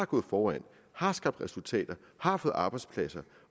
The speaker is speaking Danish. gået foran har skabt resultater har fået arbejdspladser